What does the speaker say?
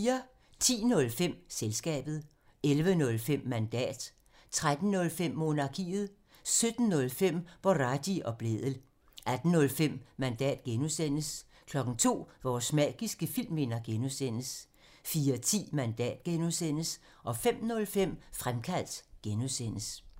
10:05: Selskabet 11:05: Mandat 13:05: Monarkiet 17:05: Boraghi og Blædel 18:05: Mandat (G) 02:00: Vores magiske filmminder (G) 04:10: Mandat (G) 05:05: Fremkaldt (G)